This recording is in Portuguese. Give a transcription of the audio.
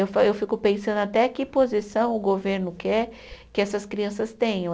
Eu fa eu fico pensando até que posição o governo quer que essas crianças tenham.